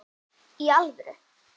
Í alvöru?